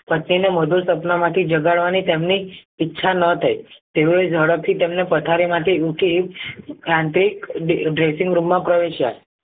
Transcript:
પતિને મોઢુ સપનામાંથી જગાડવાની તેમની ઈચ્છા ન થઈ તેઓએ ઝડપથી તેમને પથારીમાંથી ઊંચકી યાંત્રિક માં પ્રવેશ્યા